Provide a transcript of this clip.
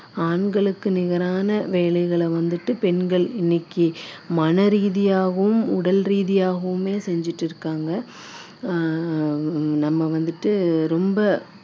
ஆண்களுக்கு நிகரான வேலைகளை வந்துட்டு பெண்கள் இன்னைக்கு மனரீதியாகவும் உடல் ரீதியாகவுமே செஞ்சுட்டு இருக்காங்க ஆஹ் நம்ம வந்துட்டு ரொம்ப